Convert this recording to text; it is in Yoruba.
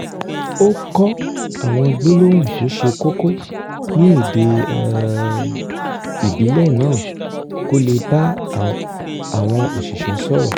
ó kọ́ àwọn gbólóhùn tó ṣe kókó ní èdè um ìbílẹ̀ náà kó lè bá àwọn òsìṣẹ́ sọ̀rọ̀